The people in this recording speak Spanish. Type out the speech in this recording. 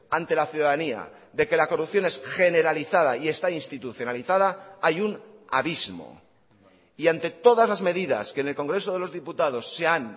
ante la ciudadanía de que la corrupción es generalizada y está institucionalizada hay un abismo y ante todas las medidas que en el congreso de los diputados se han